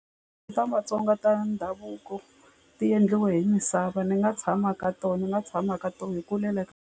Ta matsonga ta ndhavuko ti endliwe hi misava ni nga tshama ka tona ni nga tshama ka tona hi kulele.